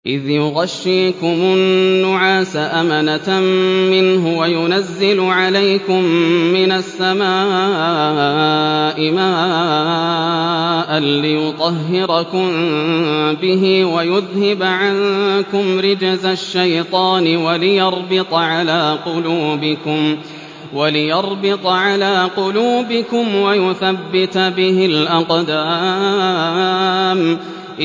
إِذْ يُغَشِّيكُمُ النُّعَاسَ أَمَنَةً مِّنْهُ وَيُنَزِّلُ عَلَيْكُم مِّنَ السَّمَاءِ مَاءً لِّيُطَهِّرَكُم بِهِ وَيُذْهِبَ عَنكُمْ رِجْزَ الشَّيْطَانِ وَلِيَرْبِطَ عَلَىٰ قُلُوبِكُمْ وَيُثَبِّتَ بِهِ الْأَقْدَامَ